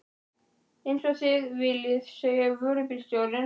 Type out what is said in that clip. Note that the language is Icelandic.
Eins og þið viljið sagði vörubílstjórinn.